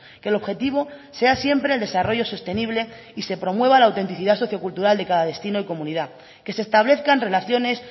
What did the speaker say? que el objetivo sea siempre el desarrollo sostenible y se promueva la autenticidad sociocultural de cada destino y comunidad que se establezcan relaciones